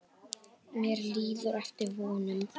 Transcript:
Mér líður eftir vonum.